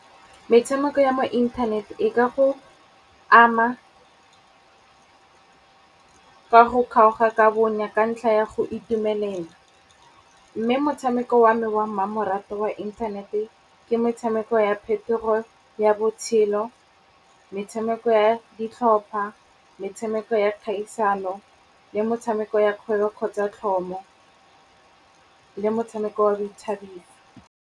Metshameko ya mo inthanete e ka go ama ka go kgaoga ka bonya ka ntlha ya go itumelela. Mme motshameko wa me wa mmamoratwa wa inthanete ke metshameko ya phetogo ya botshelo, metshameko ya ditlhopha, metshameko ya kgaisano le motshameko ya kgwebo kgotsa tlhomo le motshameko wa boithabiso.